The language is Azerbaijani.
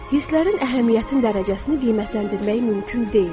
Hisslərin əhəmiyyət dərəcəsini qiymətləndirmək mümkün deyil.